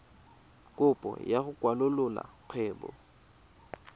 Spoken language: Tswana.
kopo ya go kwalolola kgwebo